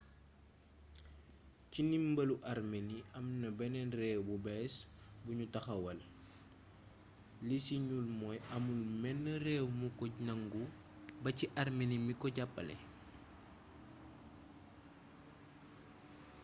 ci ndimbalu armenie amna beneen réew bu bees buñu taxawal li ci ñuul mooy amul menn réew mu ko nangu ba ci armenie mi ko jàppale